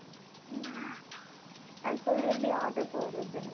உம் அது சொல்லு, எப்படி order போடறதுன்னு